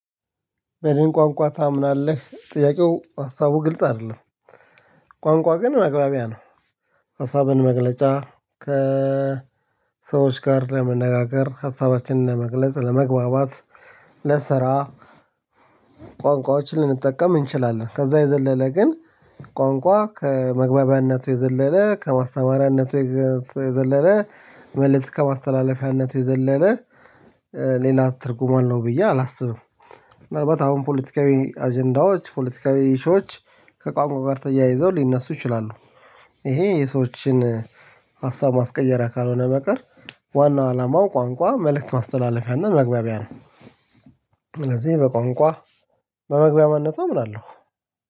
በደን ቋንቋ ታምናለህ? ጥያቄው ሀሳቡ ግልጽ አይደለም ቋንቋ ግን መግባቢያ ነው ሀሳብን መግለጫ ከሰዎች ጋር ለመነጋገር፣ ሀሳባችንን መግለጽ፣ ለመግባባት፣ ለስራ ቋንቋዎችን ልንጠቀም እንችላለን ከዛ የዘለለ ግን ቋንቋ ከመግባቢያነቱ የዘለለ ከማስተማሪያነቱ የዘለለ መልስ ከማስተላለፊያነቱ የዘለለ ሌላ ትርጉም አለው ብዬ አላስብም። ምናልባት አሁን ፖለቲካዊ አጀንዳዎች ፖለቲካዊ ኢሺች ከቋንቋ ጋር ተያይዘው ሊነሱ ይችላሉ ይሄ የሰዎችን ሀሳብ ማስቀየሪያ ካልሆነ በቀር ዋናው አላማው ቋንቋ መልእክት ማስተላለፊያና መግባቢያ ነው ስለዚህ በቋንቋ በመግባቢያነቱ አምናለሁ።